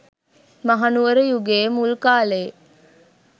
මහනුවර යුගයේ මුල් කාලයේ